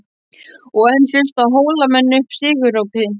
Og enn lustu Hólamenn upp sigurópi.